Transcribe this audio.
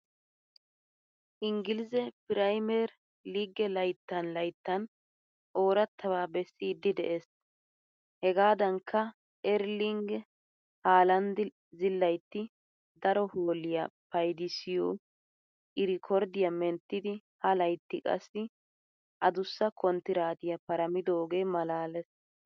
Inggilize piriimiyer liigee layttan layttan oorattabaa bessiiddi de'ees. Hegaadankka Erling haalanddi zilaytti daro hoolliya paydissiyo iriikorddiya menttidi ha laytti qassi adussa konttiraatiya paramidogee maalaalees.